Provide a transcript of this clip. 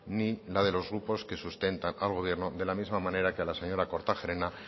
ni la de los grupos que sustentan al gobierno de la misma manera que a la señora kortajarena